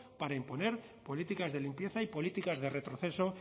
para imponer políticas de limpieza y políticas de retroceso